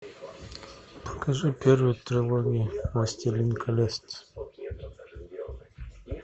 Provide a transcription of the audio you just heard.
покажи первую трилогию властелин колец